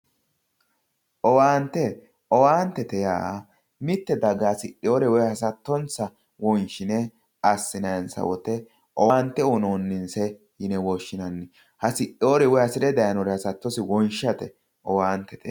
Owaante owaante yaa mitte daga hasidhinore woyi hasattonsa wonshine assinayinsawoyite owaante uyinoyi yine woshshinanni hasidhinore woyi hasattonsa wonshate owaantete yaa.